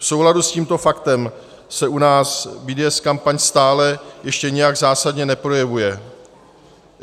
V souladu s tím faktem se u nás BDS kampaň stále ještě nijak zásadně neprojevuje.